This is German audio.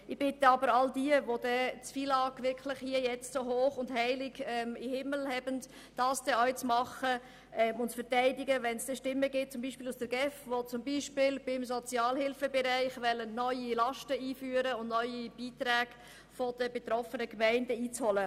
Ich bitte aber all jene, für die das FILAG sakrosankt ist, dieses auch zu verteidigen, wenn es zum Beispiel Stimmen aus der GEF gibt, die etwa im Sozialhilfebereich neue Beiträge der betroffenen Gemeinden einführen wollen.